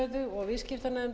háttvirtur viðskiptanefndar